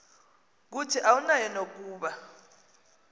kuthi awunayo nokuba